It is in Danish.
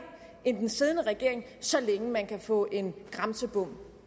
end den siddende regering så længe man kan få en grænsebom